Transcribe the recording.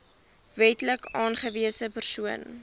wetlik aangewese persoon